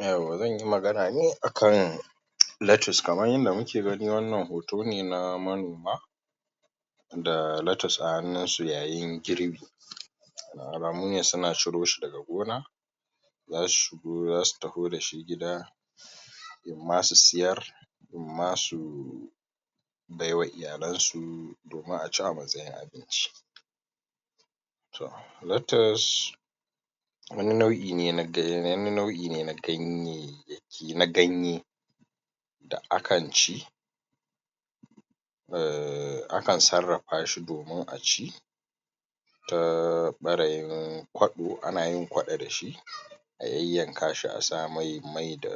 Yauwa zanyi magana ne akan latus kaman yanda muke gani wannan hoto ne na manoma da latus a hannunsu yayin girbi wannan alamu ne suna ciroshi daga gona zasu shigo za su taho da shi gida imma su siyar imma su bai wa iyalansu imma a ci a matsayin abinci toh latas wani nau'i ne na ganye wani nau'i ne na ganye na ganye da akan ci uhm akan sarrafashi domin a ci ta ɓarayin kwaɗo ana yin kwaɗo da shi a yayyakanshi a sa mai mai da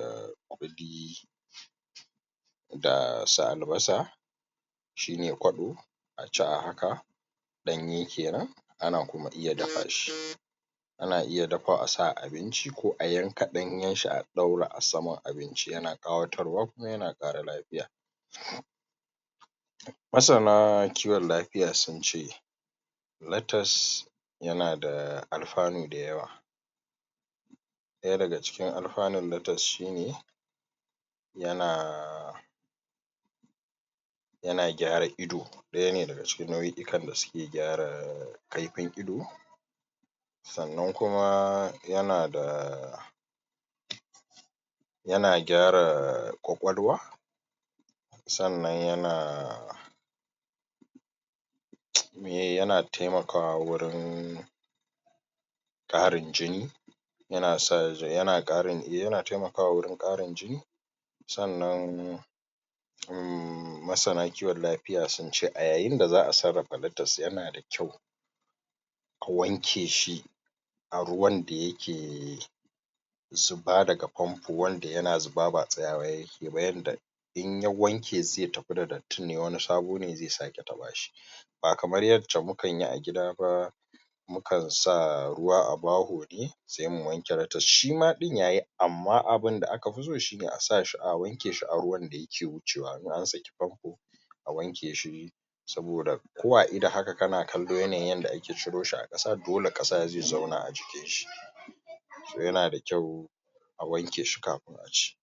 ƙuli da su albasa shi ne kwaɗo a ci a haka ɗanye kenan ana kuma iya dafashi ana iya dafawa a sa a abinci k o a yanka ɗanyenshi a ɗaura a saman abinci yana ƙawatarwa kuma yana ƙara lafiya masana kiwon kafiya sun ce latas yana da alfanu dayawa ɗaya daga cikin alfanun latas shi ne yana yana gyara ido ɗaya ne daga cikin na'o'ikan da suke gyara kaifin ido sannan kuma yana da yana gyara ƙwaƙwalwa sannan yana meye yana taimakawa wurin ƙarin jini yana sa yan ƙarin yana taimakawa wurin ƙarin jini sannan uhm masana kiwon lafiya sun ce a yayin da za a sarrafa latas yana d a kyau a wanke shi a ruwan da yake zuba daga fanfo wanda yana zuba ba tsayawa yake ba yanda in ya wanke zai tafi da datin ne wani sabo ne zai sake taɓa shi ba kamar yanda mukanyi a gida ba mukan sa ruwa a baho ne sai mu wanke latas amma abinda akafi so shine a sashi a wankeshi a ruwan da yake wucewa in an ski fanfo a wanke shi saboda ko a ido haka kana kallo yanayin yanda ake ciroshi a ƙasa dole ƙasa zai zauna a jiki toh yana da kyau a wankeshi kafin a ci.